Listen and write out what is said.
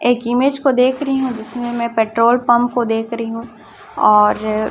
एक इमेज को देख रही हूं जिसमें मैं पेट्रोल पंप को देख रही हूं और--